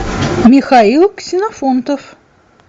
михаил ксенофонтов